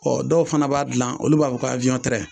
dɔw fana b'a gilan olu b'a fɔ ko